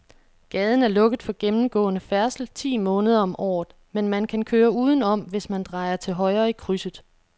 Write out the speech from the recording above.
Gaden er lukket for gennemgående færdsel ti måneder om året, men man kan køre udenom, hvis man drejer til højre i krydset.